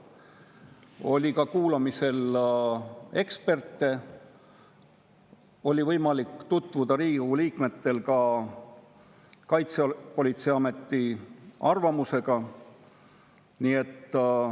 Kuulati ka eksperte, Riigikogu liikmetel oli võimalik tutvuda ka Kaitsepolitseiameti arvamusega.